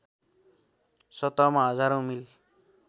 सतहमा हजारौँ मिल